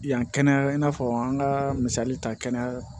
Yan kɛnɛya i n'a fɔ an ka misali ta kɛnɛya